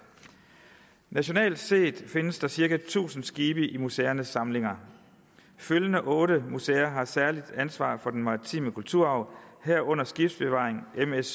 nationalt set findes der cirka tusind skibe i museernes samlinger følgende otte museer har særligt ansvar for den maritime kulturarv herunder skibsbevaring ms